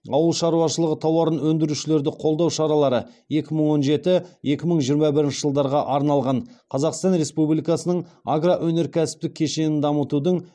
ауыл шаруашылығы тауарын өндірушілерді қолдау шаралары екі мың он жеті екі мың жиырма бірінші жылдарға арналған қазақстан республикасының агроөнеркәсіптік кешенін дамытудың